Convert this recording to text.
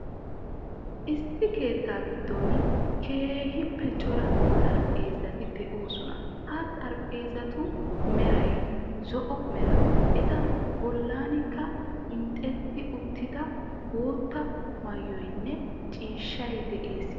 Issi keettaa giddon keehippe cora xarphpheezati de'oosona. Ha xarphpheezatu meray zo"o mera, eta bollankka hiixxetti uttida bootta maayoynne ciishshay de'ees.